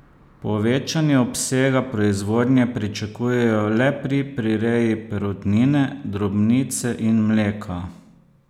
Povečanje obsega proizvodnje pričakujejo le pri prireji perutnine, drobnice in mleka.